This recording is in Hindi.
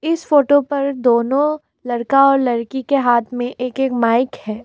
इस फोटो पर दोनों लड़का और लड़की के हाथ में एक एक माइक है।